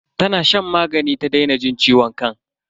Tana shan magani ta daina jin ciwon kan.